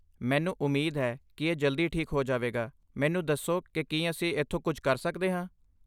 ਮੈਨੂੰ ਉਮੀਦ ਹੈ ਕਿ ਇਹ ਜਲਦੀ ਠੀਕ ਹੋ ਜਾਵੇਗਾ, ਮੈਨੂੰ ਦੱਸੋ ਕਿ ਕੀ ਅਸੀਂ ਇੱਥੋਂ ਕੁਝ ਕਰ ਸਕਦੇ ਹਾਂ।